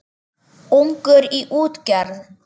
Ungur í útgerð